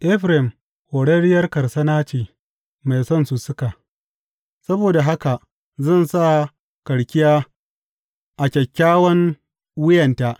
Efraim horarriyar karsana ce mai son sussuka; saboda haka zan sa karkiya a kyakkyawan wuyanta.